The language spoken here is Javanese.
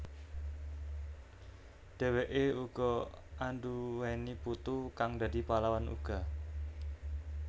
Dheweke uga anduwèni putu kang dadi pahlawan uga